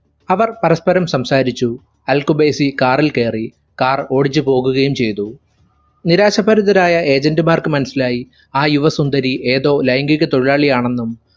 അവർ പരസ്പരം സംസാരിച്ചു. Al Khubaisi car ൽ കയറി car ഓടിച്ചുപോവുകയും ചെയ്തു നിരാശാഭരിതരായ agent മാർക്ക് മനസിലായി ആ യുവ സുന്ദരി ഏതോ ലൈംഗീക തൊഴിലാളി ആണെന്നും